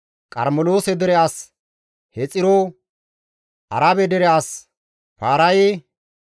Qarmeloose dere as Hexiro, Arabe dere as Paaraye,